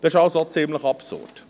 Das ist also ziemlich absurd.